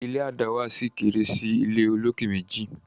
ilé a dáwà sí kéré sí ìlé olokè méjì